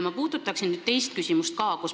Ma puudutaksin nüüd teist küsimust ka.